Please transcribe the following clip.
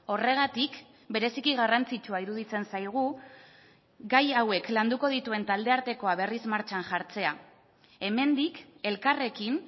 horregatik bereziki garrantzitsua iruditzen zaigu gai hauek landuko dituen talde artekoa berriz martxan jartzea hemendik elkarrekin